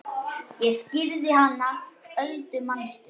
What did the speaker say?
Ég skírði hana Öldu manstu.